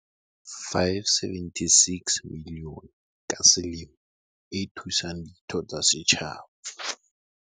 "R576 milione ka selemo e thusang ditho tsa setjhaba."